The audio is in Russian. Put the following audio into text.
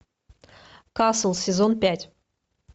касл сезон пять